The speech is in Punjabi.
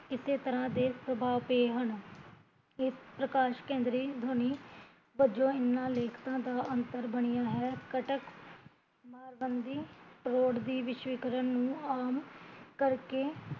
ਇਸੇ ਤਰਾਂ ਦੇ ਸਬਾਹ ਪਏ ਹਨ, ਇਹ ਪ੍ਰਕਾਸ਼ਕੇਂਦਰੀ ਦੁਨੀਆ ਵਜੋਂ ਇਹਨਾਂ ਲੇਖਕਾ ਦਾ ਅੰਤਰ ਬਣਿਆ ਹੈ ਕਟਕ, ਮਰਬੰਦੀ ਰੋਡ ਦੀ ਵਿਸਵੀਕਰਨ ਨੂ ਆਮ ਕਰਕੇ